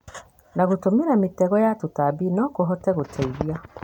na gũtũmĩra mĩtego ya tũtambi no kũhote gũteithia